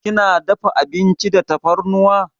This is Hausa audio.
Kina dafa abinci da tafarnuwa?